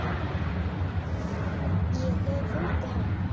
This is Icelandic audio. Ég hef fundið hana.